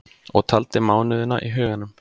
Og taldi mánuðina í huganum.